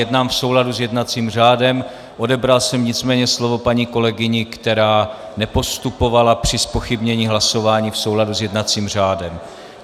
Jednám v souladu s jednacím řádem, odebral jsem nicméně slovo paní kolegyni, která nepostupovala při zpochybnění hlasování v souladu s jednacím řádem.